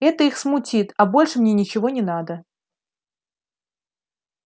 это их смутит а больше мне ничего не надо